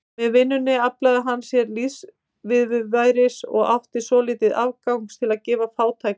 Með vinnunni aflaði hann sér lífsviðurværis og átti svolítið afgangs til að gefa fátækum.